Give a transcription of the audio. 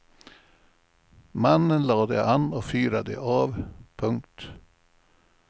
Mannen lade an och fyrade av. punkt